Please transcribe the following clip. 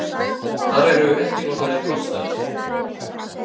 Þar eru ekki notaðir broddstafir.